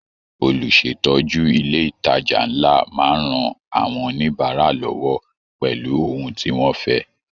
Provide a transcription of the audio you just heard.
Olùsétọ́ju ilé ìtàjà nlá máa n rán àwọn oníbárà lọwọ pẹlú ohùn tí wọn fẹ.